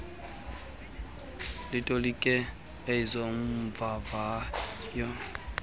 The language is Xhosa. litolike eze mvavayo